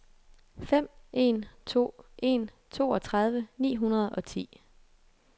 fem en to en toogtredive ni hundrede og ti